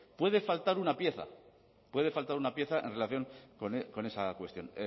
puede faltar una pieza puede faltar una pieza en relación con esa cuestión